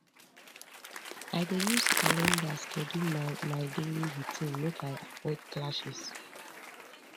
i dey use calendar schedule my my daily routine make i avoid clashes